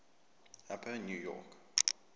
upper new york